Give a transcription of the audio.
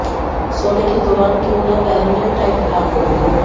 सोने के दौरान क्यूं न पहने टाइट ब्रा